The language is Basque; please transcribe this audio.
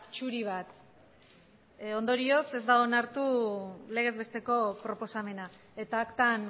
zuri bat ondorioz ez da onartu legez besteko proposamena eta aktan